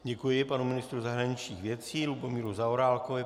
Děkuji panu ministru zahraničních věcí Lubomíru Zaorálkovi.